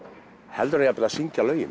heldur en að syngja lögin